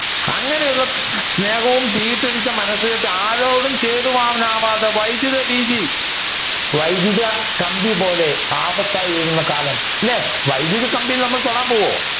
അങ്ങനെയുള്ള സ്നേഹവും വൈദ്യതി കമ്പി പോലെ ആപത്തായി ഉയരുന്ന കാലം അല്ലെ. വൈദ്യുതി കമ്പിയിൽ നമ്മൾ തൊടാൻ പോകുവോ